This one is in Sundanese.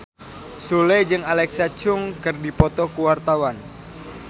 Sule jeung Alexa Chung keur dipoto ku wartawan